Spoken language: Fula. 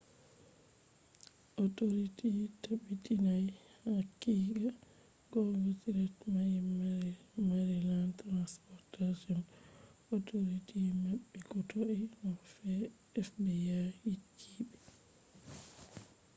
authorities tabbitinai haqiqa gonga threat mai maryland transportation authority maɓɓi ko toi no fbi yecci ɓe